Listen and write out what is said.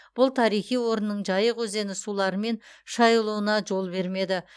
бұл тарихи орынның жайық өзені суларымен шайылуына жол бермеді